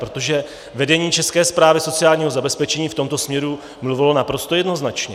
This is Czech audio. Protože vedení České správy sociálního zabezpečení v tomto směru mluvilo naprosto jednoznačně.